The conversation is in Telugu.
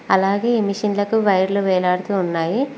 అలాగే ఈ మిషన్లకు వైర్లు వేలాడుతూ ఉన్నాయి.